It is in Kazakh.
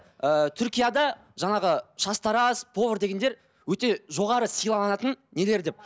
ы түркияда жаңағы шаштараз повар дегендер өте жоғары сыйланатын нелер деп